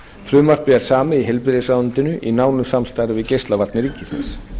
frumvarpið er samið í heilbrigðisráðuneytinu í nánu samstarfi við geislavarnir ríkisins